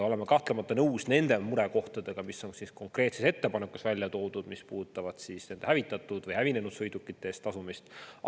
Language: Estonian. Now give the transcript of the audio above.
Oleme kahtlemata nõus nende murekohtadega, mis on konkreetses ettepanekus välja toodud ja mis puudutavad hävinenud sõidukite eest tasumist.